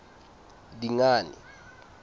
dingane